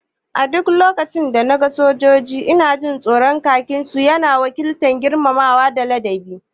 A duk lokacin da na ga sojoji ina jin tsoro, khakin su ya na wakiltar girmamawa da ladabi